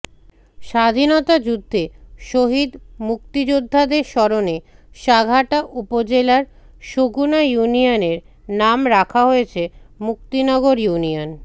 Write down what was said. স্বাধীনতা যুদ্ধে শহীদ মুক্তিযোদ্ধাদের স্মরণে সাঘাটা উপজেলার সগুনা ইউনিয়নের নাম রাখা হয়েছে মুক্তিনগর ইউনিয়ন